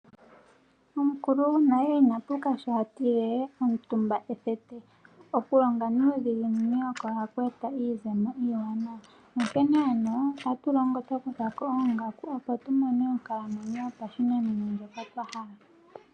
Omukulu gwonale inapuka sho atile "omutumba ethete " okulonga nuudhiginini oko haku eta iizemo iiwanawa. Onkene ano otatu longo twakuthako oongaku opo tumone onkalamwenyo yopashinanena ndjoka twahala.